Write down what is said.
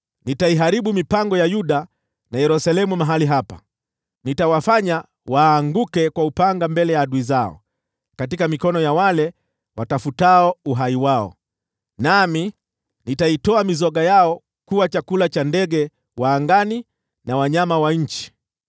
“ ‘Nitaiharibu mipango ya Yuda na Yerusalemu mahali hapa. Nitawafanya waanguke kwa upanga mbele ya adui zao, katika mikono ya wale watafutao uhai wao, nami nitaitoa mizoga yao kuwa chakula cha ndege wa angani na wanyama wa nchi.